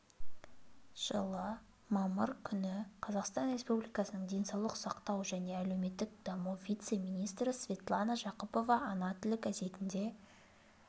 жылы мамыр күні қазақстан республикасының денсаулық сақтау және әлеуметтік даму вице-министрі светлана жақыпова ана тілі газетінде